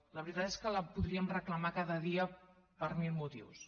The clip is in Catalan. la veritat és que la podríem reclamar cada dia per mil motius